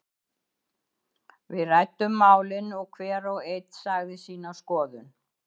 Við ræddum málin og hver og einn sagði sína skoðun.